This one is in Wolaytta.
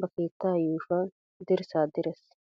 ba keettaa yuushuwan dirssaa direes.